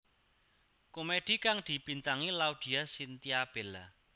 Komedi kang dibintangi Laudya Chintya Bella